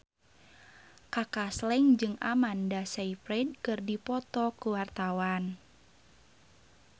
Kaka Slank jeung Amanda Sayfried keur dipoto ku wartawan